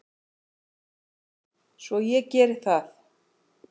Svo ég geri það.